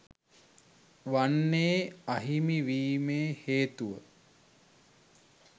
වන්නේ අහිමි වීමේ හේතුව